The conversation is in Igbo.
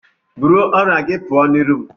Bụrụ ọrịa gị pụọ n'iru m!